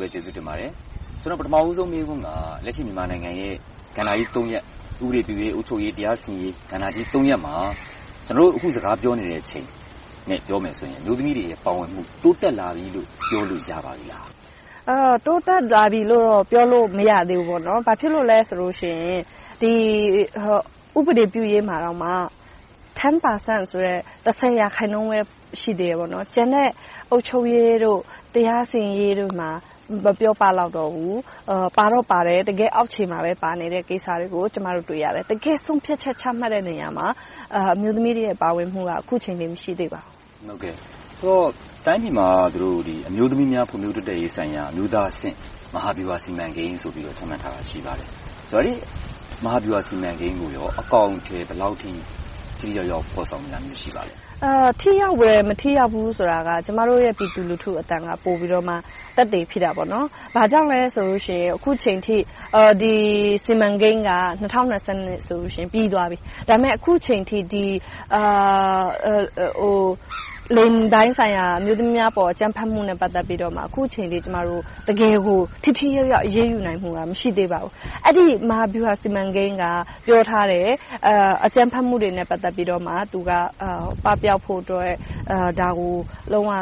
ပဲကျေးဇူးတင်ပါတယ်။ ပထမဦးဆုံးမေးခွန်းက လက်ရှိမြန်မာနိုင်ငံရဲ့ ကဏ္ဍကြီး ရပ် - ဥပဒေပြုရေး၊ အုပ်ချုပ်ရေး နဲ့ တရားစီရင်ရေး ကဏ္ဍကြီး ရပ်မှာ ကျနော်တို့ အခုစကားပြောနေချိန်နဲ့ ပြောမယ်ဆိုရင် အမျိုးသမီးတွေရဲ့ ပါဝင်မှု တိုးတက်လာပြီလို့ ပြောလို့ရပါပြီလား။ တိုးတက်လာပြီလို့တော့ ပြောလို့မရသေးဘူး။ ဘာဖြစ်လို့လဲဆိုရင် ဥပဒေပြုရေးမှာ တစ်ဆယ်ရာခိုင်နှုန်းပဲ ရှိသေးတယ်။ ကျန်တဲ့ အုပ်ချုပ်ရေး၊ တရားစီရင်ရေးတို့မှာ မပြောပလောက်တော့ဘူး။ ပါတော့ပါတယ် တကယ့်အောက်ခြေမှာပဲ ပါနေတဲ့ကိစ္စတွေကို ကျမတို့ တွေ့ရတယ်။ တကယ့်ဆုံးဖြတ်ချက် ချမှတ်တဲ့နေရာမှာ အမျိုးသမီးတွေရဲ့ ပါဝင်မှုက အခုချိန်ထိ မရှိသေးပါဘူး။ ဆိုတော့ တိုင်းပြည်မှာ အမျိုးသမီးများ ဖွံ့ဖြိုးတိုးတက်ရေးဆိုင်ရာ အမျိုးသားအဆင့် မဟာဗျူဟာစီမံကိန်းဆိုပြီးတော့ ချမှတ်ထားတာ ရှိပါတယ်။ အဲဒီမဟာဗျူဟာစီမံကိန်းကို အကောင်အထည် ဘယ်လောက်အထိ ထိထိရောက်ရောက် ဖော်ဆောင်နေတာ ရှိပါသလဲ။ ထိရောက်တယ်၊ မထိရောက်ဘူးဆိုတာက ကျမတို့ရဲ့ ပြည်သူလူထုရဲ့အသံက ပိုပြီးတော့ သက်သေဖြစ်တယ်။ ဘာကြောင့်လဲဆိုလို့ရှိရင် အခုအချိန်အထိ ဒီ စီမံကိန်းက ၂၀၂၂ ဆိုရင် ပြီးသွားပြီ။ ဒါပေမဲ့ အခုအချိန်အထိ လိင်ပိုင်းဆိုင်ရာ အမျိုးသမီးအပေါ် အကြမ်းဖက်မှုနဲ့ ပတ်သက်ပြီးတော့ အခုအချိန်အထိ တကယ်ကို ထိထိရောက်ရောက် အရေးယူနိုင်မှုက မရှိသေးပါဘူး။ အဲဒီ မဟာဗျူဟာစီမံကိန်းက ပြောထားတယ် - အကြမ်းဖက်မှုတွေနဲ့ ပတ်သက်လို့ သူက ပပျောက်ဖို့အတွက် ဒါကို လုံးဝ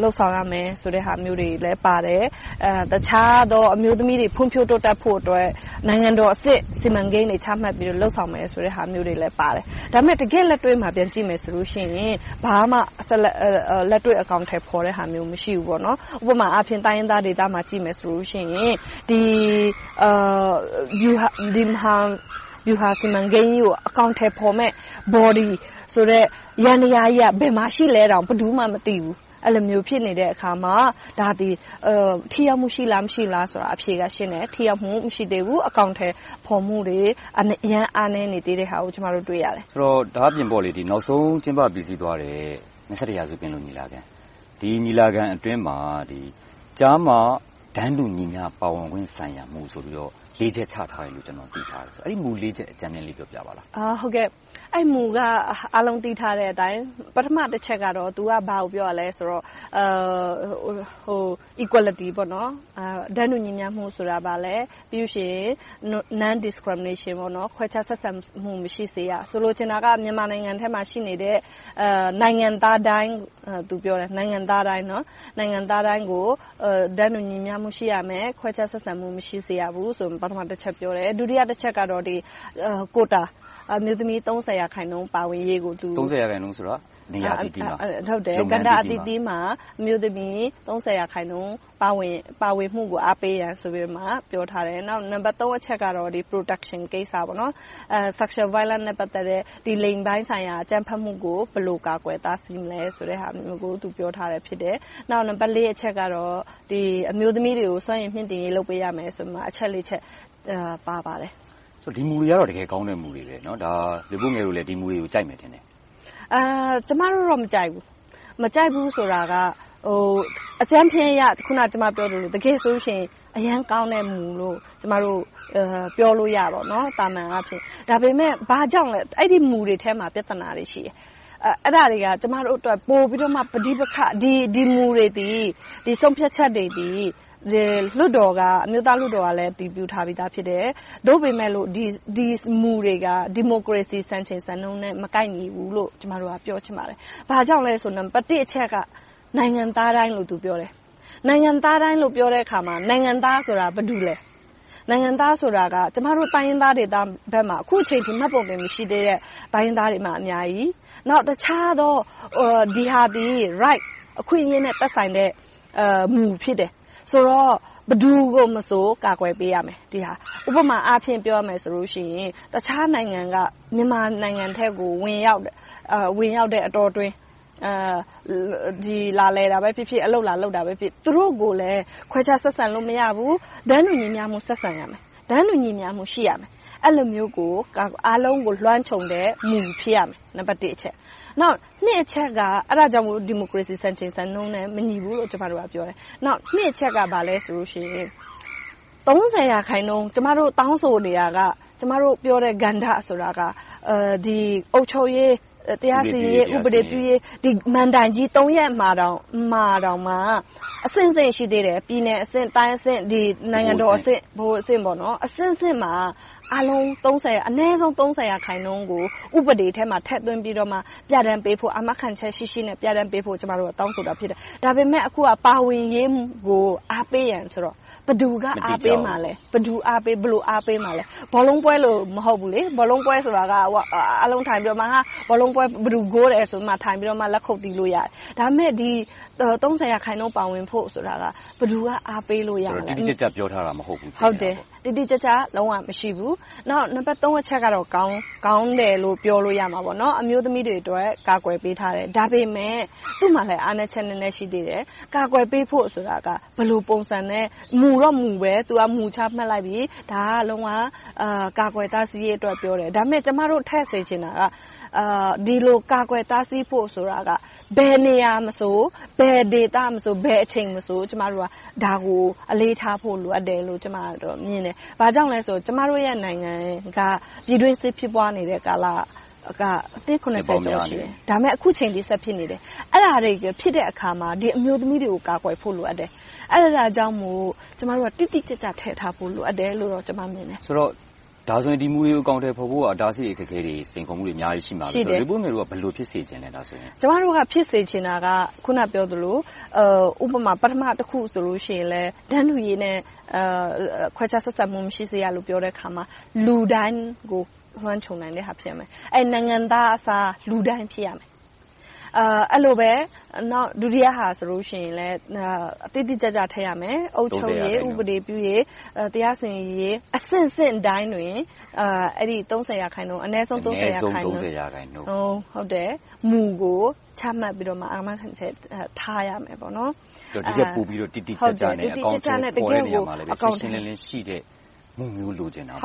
လုပ်ဆောင်ရမယ်ဆိုတဲ့ အချက်တွေလည်းပါတယ်။ တခြားသော အမျိုးသမီးတွေ ဖွံ့ဖြိုးတိုးတက်ဖို့အတွက် နိုင်ငံတော်အဆင့် စီမံကိန်းတွေ ချမှတ်ပြီးတော့ လုပ်ဆောင်မယ်ဆိုတဲ့အချက်တွေလည်း ပါတယ်။ ဒါပေမဲ့ တကယ့်လက်တွေ့ကို ပြန်ကြည့်မယ်ဆိုရင် ဘာမှလက်တွေ့အကောင်အထည်ဖော်တဲ့ဟာမျိုး မရှိပါဘူး။ ဥပမာအားဖြင့် တိုင်းရင်းသားဒေသတွေကို ကြည့်လိုက်မယ်ဆိုရင် ဒီမဟာဗျူဟာစီမံကိန်းကြီးကို အကောင်အထည်ဖော်မယ့် Body ဆိုတဲ့ ယန္တရားကြီး ဘယ်မှာရှိသလဲဆိုတာကို ဘယ်သူမှ မသိဘူး၊ အဲဒီလို ဖြစ်နေတဲ့အခါမှာ ဒါက ထိရောက်မှုရှိလား၊ မရှိဘူးလားဆိုတာ အဖြေက ရှင်းနေတယ်။ ထိရောက်မှု မရှိသေးဘူး။ အကောင်အထည်ဖော်မှုတွေ အရမ်းအားနည်းနေသေးတာကို ကျမတို့ တွေ့ရတယ်။ ဒါ့အပြင် နောက်ဆုံးကျင်းပပြီးစီးသွားတဲ့ ရာစု ပင်လုံညီလာခံ - ဒီညီလာခံအတွင်းမှာ ကျားမတန်းတူညီမျှပါဝင်ခွင့်ဆိုင်ရာ မူဆိုပြီးတော့ လေးချက်ချထားတယ်လို့ ကျနော် သိထားတယ်။ အဲဒီ မူ ချက်ကို အကြမ်းဖျဉ်းလေး ပြောပြပါလား။ အဲဒီမူက အားလုံးသိထားတဲ့အတိုင်း ပထမတချက်က ဘာကိုပြောတာလဲဆိုတော့ Equality - တန်းတူညီမျှမှုဆိုတာ ဘာလဲ။ ပြီးနောက် Non-discrimination ခွဲခြားဆက်ဆံမှု မရှိစေရ။ ဆိုလိုချင်တာက မြန်မာနိုင်ငံထဲမှာ ရှိနေတဲ့ နိုင်ငံသားတိုင်းကို တန်းတူညီမျှမှု ရှိရမယ်။ ခွဲခြားဆက်ဆံမှု မရှိစေရဘူးဆိုပြီး ပထမတချက်ကို ပြောတယ်။ ဒုတိယတချက်ကတော့ ကိုယ်တာ အမျိုးသမီး ရာခိုင်နှုန်း ပါဝင်ရေးကို.. သုံးဆယ်ရာခိုင်နှုန်းဆိုတာက နေရာအသီးသီးမှာ၊ကဏ္ဍအသီးသီးမှာ အမျိုးသမီး ရာခိုင်နှုန်း ပါဝင်မှုကို အားပေးတယ်ဆိုပြီးတော့ ပြောထားတယ်။ နောက် နံပတ် အချက်ကတော့ Protection ကိစ္စ - Sexual violence လိင်ပိုင်းဆိုင်ရာ အကြမ်းဖက်မှုကို ဘယ်လို ကာကွယ်တားဆီးမလဲဆိုတဲ့ဟာမျိုးကို ပြောထားတယ်။ နောက် နံပတ် အချက်ကတော့ အမျိုးသမီးတွေကို စွမ်းရည်မြှင့်တင်ရေး လုပ်ပေးရမယ်ဆိုပြီး အချက် ချက် ပါရှိပါတယ်။ ဒီမူတွေကတော့ တကယ်ကောင်းတဲ့ မူတွေ ဖြစ်တယ်။ မလွေးပိုးငယ်တို့လည်း ဒီမူတွေကို ကြိုက်မယ်ထင်တယ်။ ကျမတို့တော့ မကြိုက်ဘူး။ မကြိုက်ဘူးဆိုတာက အကြမ်းဖျဉ်းအရ တကယ်ဆိုရင် အရမ်းကောင်းတဲ့ မူလို့ ကျမတို့ ပြောလို့ရတယ်။ သာမန်အားဖြင့်။ ဒါပေမဲ့ အဲဒီမူတွေထဲမှာ ပြဿနာတွေ ရှိတယ်။ အဲဒါတွေက ကျမတို့အတွက် ပိုပြီးတော့မှ ပဋိပက္ခ ဖြစ်စေတယ် - ဒီမူတွေ၊ ဆုံးဖြတ်ချက်တွေသည် အမျိုးသားလွှတ်တော်ကလည်း အတည်ပြုထားပြီသားဖြစ်တယ်။ သို့ပေမယ့် ဒီမူတွေက ဒီမိုကရေစီ စံချိန်စံနှုန်းနဲ့ မကိုက်ညီဘူးလို့ ကျမတို့က ပြောချင်ပါတယ်။ ဘာကြောင့်လဲဆိုရင် နံပတ်တစ်အချက်က နိုင်ငံသားတိုင်းလို့ ပြောတယ် - နိုင်ငံသားတိုင်းလို့ ပြောတဲ့အခါမှာ နိုင်ငံသားဆိုတာ ဘယ်သူတွေလဲ။ နိုင်ငံသားဆိုတာက ကျမတို့ တိုင်းရင်းသားတွေဘက်မှာ အခုအချိန်အထိ မှတ်ပုံတင် မရှိသေးတဲ့ တိုင်းရင်းသားတွေ အများကြီး။ နောက်တခြားသော Rights အခွင့်အရေးတွေနဲ့ သက်ဆိုင်တဲ့မူ ဖြစ်တယ်။ ဆိုတော့ ဘယ်သူကိုမဆို ကာကွယ်ပေးရမယ်။ ဥပမာအားဖြင့် ပြောရမယ်ဆိုရင် တခြားနိုင်ငံက မြန်မာနိုင်ငံအတွင်းကို ဝင်ရောက်တဲ့အတောအတွင်း လာလည်တာပဲဖြစ်ဖြစ်၊ အလုပ်လာလုပ်တာပဲဖြစ်ဖြစ် သူတို့ကိုလည်း ခွဲခြားဆက်ဆံလို့ မရဘူး။ တန်းတူညီတူ ဆက်ဆံရမယ်။ တန်းတူညီမျှမှု ရှိရမယ်။ အဲဒီလိုမျိုး အားလုံးကို လွှမ်းခြုံတဲ့ မူ ဖြစ်ရမယ်။ နံပတ်နှစ်အချက်က အဲဒါကြောင့်မို့ ဒီမိုကရေစီ စံချိန်စံနှုန်းနဲ့ မညီဘူးလို့ ကျမတို့က ပြောတယ်။ နှစ်အချက်က ကျမတို့ တောင်းဆိုနေတာက၊ ကျမတို့ပြောတဲ့ ကဏ္ဍဆိုတာက အုပ်ချုပ်ရေး၊ တရားစီရင်ရေး၊ ဥပဒေပြုရေး ဒီမဏ္ဍိုင်ကြီး သုံးရပ်မှာတောင်မှ အဆင့်ဆင့်ရှိသေးတယ် - ပြည်နယ်အဆင့်၊ တိုင်းအဆင့်၊ ဗဟိုအဆင့်၊ နိုင်ငံတော်အဆင့်မှာ အနည်းဆုံး ရာခိုင်နှုန်းကို ဥပဒေထဲမှာ ထည့်သွင်းပြီးတော့ ပြဌာန်းပေးဖို့ အာမခံချက်ရှိရှိနဲ့ ပြဌာန်းပေးဖို့ ကျမတို့က တောင်းဆိုတာဖြစ်တယ်။ ဒါပေမဲ့ အခုက ပါဝင်ရေးကို အားပေးရန်ဆိုတော့ ဘယ်သူက အားပေးမှာလဲ။ ဘယ်လိုအားပေးမှာလဲ။ ဘောလုံးပွဲလို မဟုတ်ဘူးလေ - ဘောလုံးပွဲဆိုတာက အားလုံးထိုင်ပြီးတော့ ဘယ်သူ ဂိုးတယ်ဆိုတာကို လက်ခုပ်တီး အားပေးလို့ရတယ်။ ဒါပေမဲ့ ရာခိုင်နှုန်း ပါဝင်ဖို့ဆိုတာ ဘယ်သူက အားပေးလို့ရမလဲ။ တိတိကျကျ ပြောထားတာ မဟုတ်ဘူးပေါ့။ ဟုတ်တယ်.. တိတိကျကျ လုံးဝမရှိဘူး။ နောက် နံပတ်သုံးအချက်ကတော့ ကောင်းတယ်လို့ ပြောလို့ရမှာပေါ့။ အမျိုးသမီးတွေအတွက် ကာကွယ်ပေးထားတယ်။ ဒါပေမဲ့ သူ့မှာလဲ အားနည်းချက် နည်းနည်းရှိသေးတယ်။ ကာကွယ်ပေးဖို့ဆိုတာက ဘယ်လိုပုံစံနဲ့ မူတော့မူပဲ မူတော့ ချမှတ်လိုက်ပြီ - ဒါက လုံးဝကာကွယ်တားဆီးရေးအတွက် ပြောတယ်။ ဒါပေမဲ့ ကျမတို့ထည့်စေချင်တာက ဒီလိုကာကွယ်တားဆီးဖို့ဆိုတာ ဘယ်နေရာမှာမဆို၊ ဘယ်ဒေသမဆို၊ ဘယ်အချိန်မဆို ကျမတို့က ဒါကို အလေးထားဖို့ လိုအပ်တယ်လို့ ကျမက မြင်တယ်။ ဘာကြောင့်လဲဆိုတော့ ကျမတို့နိုင်ငံက ပြည်တွင်းစစ်ဖြစ်ပွားနေတဲ့ ကာလက နှစ် ကျော် ရှိတယ်။ အခုအချိန်အထိ ဆက်ဖြစ်နေတယ်။ အဲဒါတွေဖြစ်တဲ့အခါမှာ အမျိုးသမီးတွေကို ကာကွယ်ဖို့ လိုအပ်တယ်။ အဲဒါကြောင့်မို့ ကျမတို့က တိတိကျကျ ထည့်ထားဖို့ လိုအပ်တယ်လို့ ကျမမြင်တယ်။ ဆိုတော့ ဒီမူတွေကို အကောင်အထည်ဖော်ဖို့ရာ အတားအဆီး၊ အခက်အခဲ၊ စိန်ခေါ်မှုတွေ အများကြီး ရှိမှာပဲ။ မလွေးပိုးငယ်တို့က ဘယ်လို ဖြစ်စေချင်တာလဲ။ ကျမတို့ ဖြစ်စေချင်တာက အခုနပြောသလို ပထမတခုဆိုရင်လဲ တန်းတူရေးနဲ့ ခွဲခြားဆက်ဆံမှု မရှိစေရလို့ ပြောတဲ့အခါမှာ လူတိုင်းကို လွှမ်းခြုံနိုင်တဲ့အရာ ဖြစ်စေရမယ်။ နိုင်ငံသားအစား လူတိုင်းဖြစ်ရမယ်။ အဲဒီလိုပဲ ဒုတိယအချက်ဆိုရင် တိတိကျကျ ထည့်ရမယ် - အုပ်ချုပ်ရေး၊ ဥပဒေပြုရေး၊ တရားစီရင်ရေး အဆင့်ဆင့်တိုင်းတွင် အနည်းဆုံး ရာခိုင်နူန်း မူကို ချမှတ်ပြီးတော့မှ အာမခံချက်ထားရမယ်။ တကယ့်ကို တိတိကျကျနဲ့ တကယ့်ကို အကောင်အထည်ဖော်ပြီး၊ ရှင်းရှင်းလင်းလင်းရှိတဲ့ မူမျိုး လိုချင်တာပေ့ါ။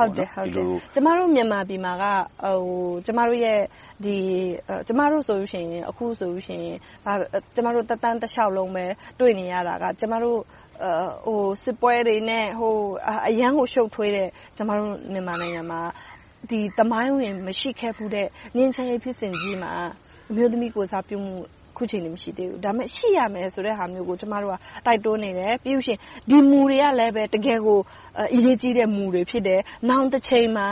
ကျမတို့ မြန်မာပြည်မှာက ကျမတို့သက်တမ်းတလျှောက်လုံးပဲ တွေ့နေရတာက စစ်ပွဲတွေနဲ့ အရမ်းကိုရှုပ်ထွေးတယ်။ သမိုင်းဝင်မရှိခဲ့ဘူးတဲ့ ငြိမ်းချမ်းရေးဖြစ်စဉ်ကြီးမှာ အမျိုးသမီးကိုယ်စားပြုမှု အခုအချိန်အထိ မရှိသေးဘူး။ ဒါပေမဲ့ ရှိရမယ်ဆိုတဲ့ဟာမျိုးကို ကျမတို့က တိုက်တွန်းနေတယ်။ ပြီးနောက် ဒီမူတွေကလဲ တကယ့်ကို အရေးကြီးတဲ့မူတွေ ဖြစ်တယ်။ နောင်တချိန်မှာ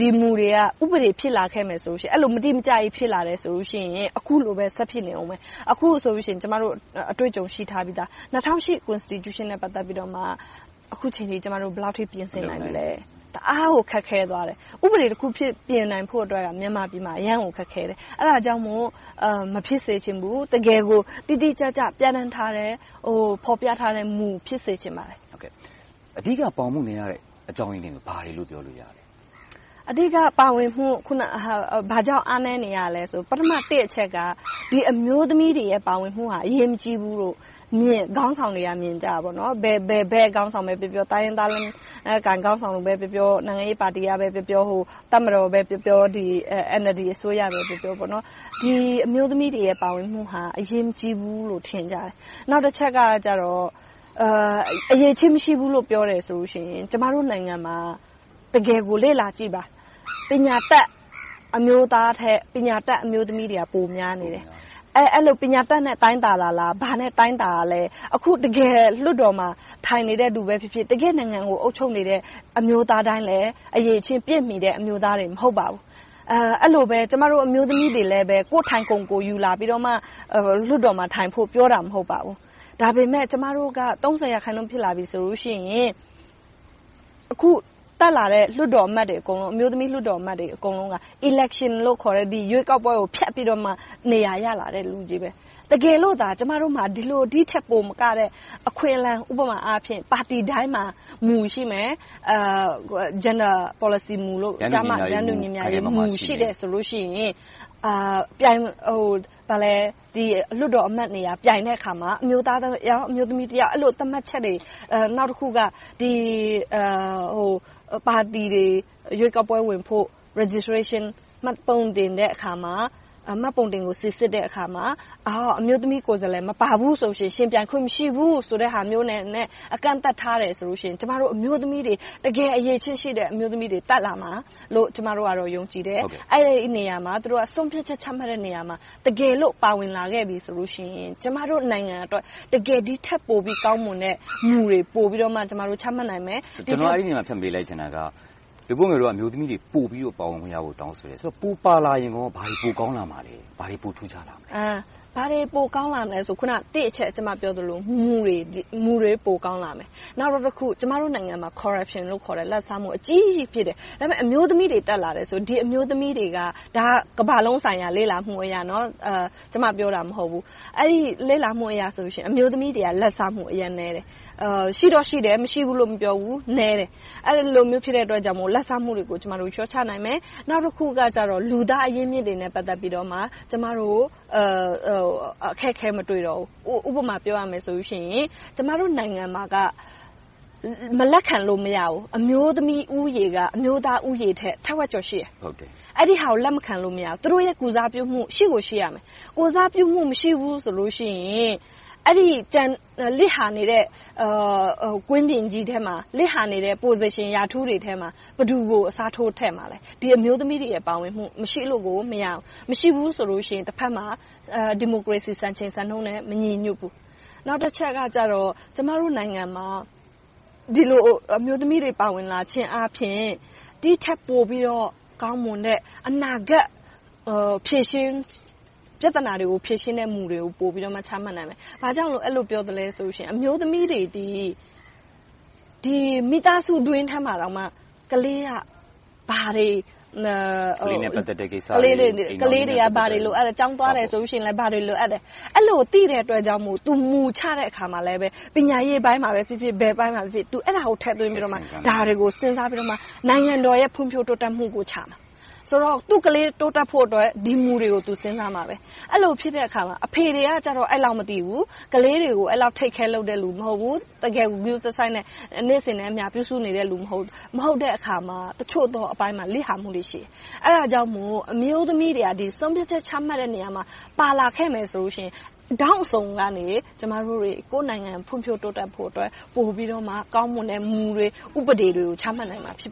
ဒီမူတွေက ဥပဒေဖြစ်လာခဲ့ရင် အဲဒီလို မတိမကျကြီး ဖြစ်လာတယ်ဆိုရင် အခုလိုပဲ ဆက်ဖြစ်နေအုံးမယ်။ အခုဆိုရင် ကျမတို့ အတွေ့အကြုံရှိပြီသား။ ၂၀၀၈ ဖွဲ့စည်းပုံအခြေခံဥပဒေနဲ့ အခုအချိန်အထိ ကျမတို့ ဘယ်လောက်အထိ ပြင်ဆင်နိုင်ပြီလဲ။ တအားကို ခက်ခဲသွားတယ်။ ဥပဒေတခု ပြင်နိုင်ဖို့အတွက် မြန်မာနိုင်ငံမှာ အရမ်းကိုခက်ခဲတယ်။ အဲဒါကြောင့်မို့ မဖြစ်စေချင်ဘူး။ တကယ်ကို တိတိကျကျ ပြဌာန်းထားတဲ့၊ ဖော်ပြထားတဲ့မူပဲ ဖြစ်စေချင်ပါတယ်။ အဓိက ပါဝင်မှုမရတဲ့ အကြောင်းရင်းတွေက ဘာတွေလို့ ပြောလို့ရမလဲ။ အဓိက ဘာကြောင့် ပါဝင်မှု အားနည်းနေရလဲဆိုရင် ပထမတစ်အချက်က အမျိုးသမီးတွေ ပါဝင်မှုက အရေးမကြီးဘူးလို့ ခေါင်းဆောင်တွေက မြင်ကြတယ်။ ဘယ်ခေါင်းဆောင်ပဲပြောပြော၊ တိုင်းရင်းသားလက်နက်ကိုင်အုပ်စုက ခေါင်းဆောင်တွေပဲပြောပြော။ နိုင်ငံရေးပါတီကပဲပြောပြော၊ တပ်မတော်ပဲပြောပြော၊ NLD အစိုးရပဲပြောပြော အမျိုးသမီးတွေရဲ့ ပါဝင်မှုဟာ အရေးမကြီးဘူးလို့ ထင်ကြတယ်။ နောက်တချက်က အရည်အချင်းမရှိဘူးလို့ ပြောတယ်ဆိုလို့ရှိရင် ကျမတို့နိုင်ငံမှာ တကယ်ကို လေ့လာစရာတွေ အများကြီးပါ။ ပညာတတ်အမျိုးသားထက် ပညာတတ်အမျိုးသမီးတွေက ပိုများနေတယ်။ အဲဒီလို ပညာတတ်နဲ့ တိုင်းတာတာလား။ ဘာနဲ့တိုင်းတာလဲ။ အခု တကယ်လွှတ်တော်မှာ ထိုင်နေတဲ့လူပဲဖြစ်ဖြစ်၊ နိုင်ငံကို အုပ်ချုပ်နေတဲ့ အမျိုးသားတိုင်းလည်း အရည်အချင်းပြည့်မီတဲ့ အမျိုးသားတွေ မဟုတ်ပါဘူး။ အဲဒီလိုပဲ ကျမတို့ အမျိုးသမီးတွေလဲ ကိုယ့်ထိုင်ခုံ ကိုယ်ယူလာပြီမှ လွှတ်တော်မှာထိုင်ဖို့ ပြောတာ မဟုတ်ပါဘူး။ ဒါပေမဲ့ ကျမတို့က ရာခိုင်နှုန်း ဖြစ်လာပြီဆိုရင် အခုတက်လာတဲ့ လွှတ်တော်အမတ်တွေအကုန်လုံး အမျိုးသမီးအမတ်တွေ အကုန်လုံးက Election လို့ခေါ်တဲ့ ရွေးကောက်ပွဲကို ဖျက်ပြီးတော့မှ နေရာရလာတဲ့ လူတွေ။ တကယ်လို့သာ ကျမမှာ ဒီထက်ပိုမကတဲ့ အခွင့်အလမ်း - ဥပမာ ပါတီတိုင်းမှာ မူ ရှိမယ်။ ကျားမတန်းတူညီမျှရေးမူ ရှိတယ်ဆိုရင် ဒီလွှတ်တော်အမတ်နေရာ ပြိုင်တဲ့အခါမှာ အမျိုးသား ယောက်၊ အမျိုးသမီး ယောက် သတ်မှတ်ချက်တွေ။ နောက်တခုက ပါတီတွေ ရွေးကောက်ပွဲဝင်ဖို့ Registration - မှတ်ပုံတင်တဲ့အခါမှာ မှတ်ပုံတင်ကို စီစစ်တဲ့အခါမှာ အမျိုးသမီးကိုယ်စားလှယ် မပါဘူးဆိုရင် ယှဉ်ပြိုင်ခွင့် မရှိဘူးဆိုတဲ့ဟာမျိုးနဲ့ အကန့်အသတ်ထားတယ်ဆိုလို့ရှိရင် ကျမတို့ အမျိုးသမီးတွေ တကယ်အရည်အချင်းရှိတဲ့ အမျိုးသမီးတွေ တက်လာမယ်လို့ ကျမတို့ ယုံကြည်တယ်။ အဲဒီနေရာမှာ သူတို့ ဆုံးဖြတ်ချက်ချတဲ့နေရာမှာ တကယ်လို့ ပါဝင်လာခဲ့ပြီဆိုရင် ကျမတို့နိုင်ငံအတွက် တကယ်ဒီထက်ပိုကောင်းတဲ့ မူတွေ ပိုပြီးတော့ ချမှတ်နိုင်မယ်။ ဒီနေရာမှာ ဖြတ်မေးလိုက်ချင်တာက မလွေးပိုးငယ်တို့က အမျိုးသမီးတွေ ပိုပြီးပါဝင်ခွင့်များကို တောင်းဆိုတယ်။ ပိုပါလာရင်ကော ဘာတွေပိုကောင်းလာမှာလဲ။ ဘာတွေပိုထူးခြားလာမလဲ။ ဘာတွေပိုကောင်းလာမလဲဆိုရင် နံပတ်တစ်အချက် ကျမပြောသလို - မူတွေ ပိုကောင်းလာမယ်။ နောက်တခုက ကျမတို့နိုင်ငံမှာ Corruption လို့ခေါ်တဲ့ လာဘ်စားမူ အကြီးကြီး ဖြစ်လာတယ်။ အမျိုးသမီးတွေ တက်လာတယ်ဆိုရင် ဒီအမျိုးသမီးတွေက ကမ္ဘာလုံးဆိုင်ရာ လေ့လာမှုအရဆိုရင် အမျိုးသမီးတွေက လာဘ်စားမှု အရမ်းနည်းတယ်။ ရှိတော့ရှိတယ် မရှိဘူးလို့ မပြောဘူး။ နည်းတယ် - အဲဒီလိုမျိုး ဖြစ်တဲ့အတွက်ကြောင့် လာဘ်စားမှုတွေကို လျှော့ချနိုင်တယ်။ နောက်တခုကြတော့ လူသားအရင်းအမြစ်တွေနဲ့ ပတ်သက်ပြီးတော့ ကျမတို့ အခက်အခဲ မတွေ့တော့ဘူး။ ဥပမာပြောရမယ်ဆိုရင် ကျမတို့နိုင်ငံမှာက မလက်ခံလို့ မရဘူး။ အမျိုးသမီးဦးရေက အမျိုးသားဦးရေထက် ထက်ဝက်ကျော် ရှိတယ်။ အဲဒါကို လက်မခံလို့ မရဘူး။ သူတို့ရဲ့ ကိုယ်စားပြုမှု ရှိကိုရှိမယ်။ လစ်ဟာနေတဲ့ Position, President ထဲမှာ ဘယ်သူကို အစားထိုးခန့်အပ်မလဲ။ ဒီအမျိုးသမီးတွေရဲ့ ပါဝင်မှု မရှိလို့ကို မရဘူး။ မရှိဘူးဆိုလို့ရှိရင် တဘက်မှာ ဒီမိုကရေစီ စံချိန်စံနှုန်းနဲ့ မညီညွှတ်ဘူး။ နောက်တချက်ကတော့ ကျမတို့နိုင်ငံမှာ ဒီလိုအမျိုးသမီးတွေ ပါဝင်လာခြင်းအားဖြင့် ဒီထက်ပိုပြီးတော့ ကောင်းမွန်တဲ့ အနာဂတ် ပြဿနာတွေကို ဖြေရှင်းတဲ့မူတွေကို ပိုပြီးတော့ ချမှတ်နိုင်မယ်။ ဘာကြောင့် အဲဒီလိုပြောသလဲဆိုရင် အမျိုးသမီးတွေသည် မိသားစုတွင်းထဲမှာတောင်မှ ကလေးနဲ့ ပတ်သက်တဲ့ကိစ္စတွေ - ကလေးတွေ ဘာတွေလိုအပ်လဲ။ ကျောင်းသွားမယ်ဆိုရင် ဘာတွေလိုအပ်လဲ။ အဲဒီလို သိတဲ့အတွက်ကြောင့်မို့ မူ ချတဲ့အခါမှာလဲ - ပညာရေးပိုင်းမှာဖြစ်ဖြစ်၊ ဘယ်အပိုင်းမှာဖြစ်ဖြစ် အဲဒါကို ထည့်သွင်းပြီးတော့၊ ဒါတွေကို စဉ်းစားပြီးတော့ နိုင်ငံတော်ရဲ့ ဖွံ့ဖြိုးတိုးတက်မှုကိုချမှာ။ သူ့ကလေး တိုးတက်ဖို့အတွက် ဒီမူတွေကို သူ စဉ်းစားရလိမ့်မယ်။ အဲဒီလိုဖြစ်တဲ့အခါမှာ အဖေတွေကတော့ အဲဒီလောက် မသိဘူး။ ကလေးတွေကို အဲဒီလောက် Take care လုပ်တဲ့လူ မရှိဘူး။ တကယ်ကို ဂရုတစိုက်နဲ့ နေ့စဉ်နဲ့အမျှ ပြုစုနေတဲ့ လူ မဟုတ်ဘူး။ မဟုတ်တဲ့အခါမှာ အချို့သောအပိုင်းမှာ လစ်ဟာမှုတွေ ရှိတယ်။ အဲဒါကြောင့်မို့ အမျိုးသမီးတွေက ဆုံးဖြတ်ချက်ချမှတ်တဲ့ နေရာမှာ ပါလာခဲ့မယ်ဆိုလို့ရှိရင် ထောင့်အစုံကနေ ကျမတို့တွေ ကိုယ့်နိုင်ငံ ဖွံ့ဖြိုးတိုးတက်ဖို့အတွက် ပိုပြီးတော့ ကောင်းမွန်တဲ့ မူတွေ၊ ဥပဒေတွေကို ချမှတ်နိုင်မှာ ဖြစ်